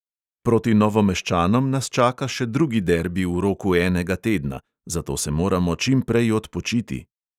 Proti novomeščanom nas čaka še drugi derbi v roku enega tedna, zato se moramo čimprej odpočiti.